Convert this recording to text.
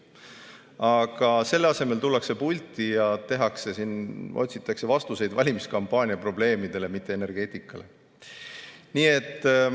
Aga selle asemel tullakse pulti ja otsitakse vastuseid valimiskampaania probleemidele, mitte energeetika probleemidele.